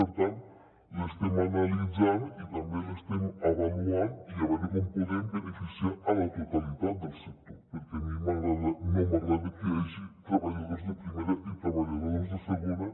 per tant l’estem analitzant i també l’estem avaluant per veure com podem beneficiar la totalitat del sector perquè a mi no m’agrada que hi hagi treballadors de primera i treballadors de segona